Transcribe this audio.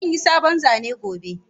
Zan yi sabon zane gobe.